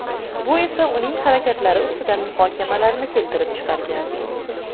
Bu esa uning harakatlari ustidan muhokamalarni keltirib chiqargan.